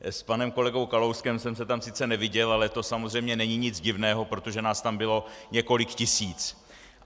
S panem kolegou Kalouskem jsem se tam sice neviděl, ale to samozřejmě není nic divného, protože nás tam bylo několik tisíc.